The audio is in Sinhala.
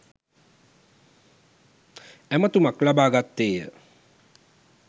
ඇමතුමක් ලබා ගත්තේය.